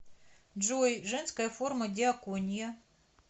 джой женская форма диакония